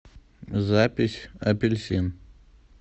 запись апельсин